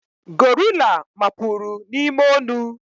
gorilla mapuru n'ime onu